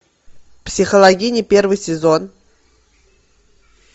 психологини первый сезон